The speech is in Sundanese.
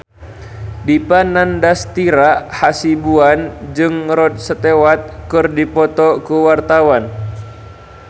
Dipa Nandastyra Hasibuan jeung Rod Stewart keur dipoto ku wartawan